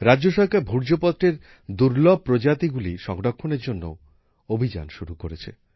রাজ্য সরকার ভূর্জপত্রের দুর্লভ প্রজাতিগুলি সংরক্ষণের জন্যও অভিযান শুরু করেছে